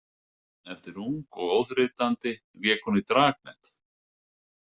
Eftir Ung og óþreytandi lék hún í Dragnet.